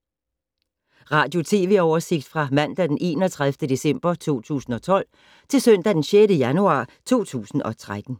Radio/TV oversigt fra mandag d. 31. december 2012 til søndag d. 6. januar 2013